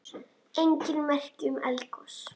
Engin merki um eldgos